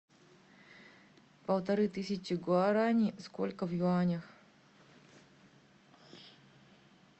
полторы тысячи гуарани сколько в юанях